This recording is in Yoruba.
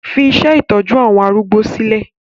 Fi iṣẹ́ ìtọ́jú àwọn arúgbó sílẹ̀!